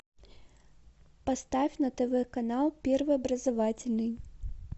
поставь на тв канал первый образовательный